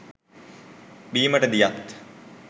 බීමට දියත්,